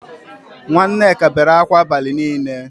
Nwa Nneka bere akwa abali nile